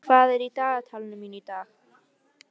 Geirdís, hvað er í dagatalinu mínu í dag?